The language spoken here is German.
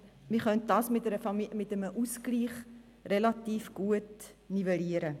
Das könnte mittels eines Ausgleichs gut nivelliert werden.